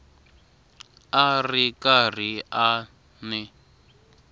a ri karhi a n